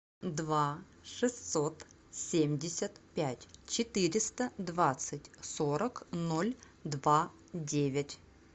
два шестьсот семьдесят пять четыреста двадцать сорок ноль два девять